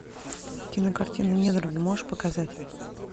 кинокартина недруги можешь показать